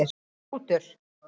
Rútur